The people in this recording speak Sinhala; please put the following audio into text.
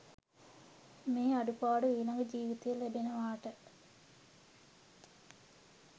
මේ අඩුපාඩු ඊළඟ ජීවිතයෙත් ලැබෙනවාට?